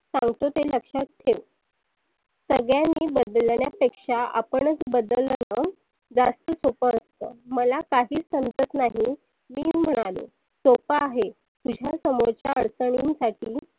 सांगतो ते लक्षात ठेव. सगळ्यांनी बदलण्या पेक्षा आपणच बदलल तर जास्त सोप असतं. मला काहीच समजत नाही मी म्हणालो, सोप आहे. तुझ्या समोरच्या अडचनी साठी